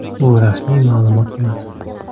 Bu rasmiy ma’lumot emas.